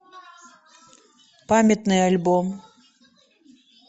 памятный альбом